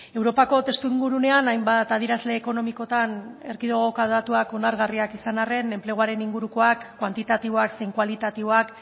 europako testu ingurunean hainbat adierazle ekonomikotan erkidegoko datuak onargarriak izan arren enpleguaren ingurukoak kuantitatiboak zein kualitatiboak